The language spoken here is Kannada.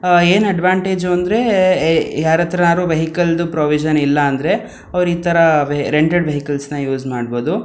ಆಹ್ಹ್ ಏನ್ ಅಡ್ವಾಂಟೇಜ್ ಅಂದ್ರೆ ಯಾರ್ ಹತ್ರನಾದ್ರೂ ವೆಹಿಕಲ್ಡ್ ಪ್ರೋವಿಶ್ವ್ನ್ ಇಲ್ಲ ಅಂದ್ರೆ ಅವ್ರ್ ಈ ತರ ರೆಂಟಲ್ ವೆಹಿಕಲ್ನ ಯೂಸ್ ಮಾಡಬಹುದು.